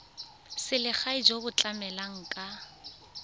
selegae jo bo tlamelang ka